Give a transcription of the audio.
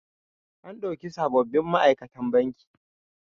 An ɗauki sabobin ma'aikatan banki.